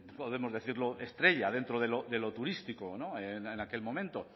podemos decirlo estrella dentro de lo turístico en aquel momento